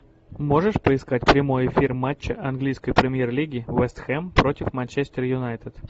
можешь поискать прямой эфир матча английской премьер лиги вест хэм против манчестер юнайтед